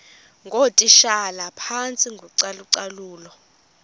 ngootitshala phantsi kocalucalulo